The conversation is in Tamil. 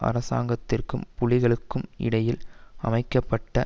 அரசாங்கத்திற்கும் புலிகளுக்கும் இடையில் அமைக்க பட்ட